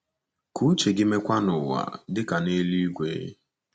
Ka uche gị meekwa n’ụwa, dị ka n’eluigwe.